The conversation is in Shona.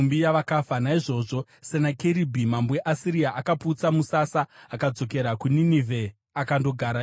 Naizvozvo Senakeribhi mambo weAsiria akaputsa musasa. Akadzokera kuNinevhe akandogara ikoko.